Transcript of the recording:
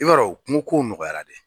I b'a don kungo ko nɔgɔyara de.